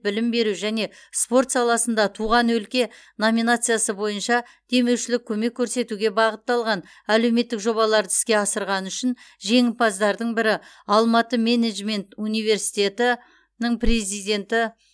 білім беру және спорт саласында туған өлке номинациясы бойынша демеушілік көмек көрсетуге бағытталған әлеуметтік жобаларды іске асырғаны үшін жеңімпаздардың бірі алматы менеджмент университетінің президенті